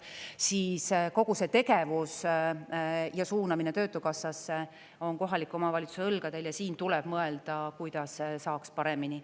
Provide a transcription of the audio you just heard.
Siis kogu see tegevus ja suunamine töötukassasse on kohaliku omavalitsuse õlgadele ja siin tuleb mõelda, kuidas saaks paremini.